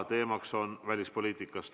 Teemaks on välispoliitika.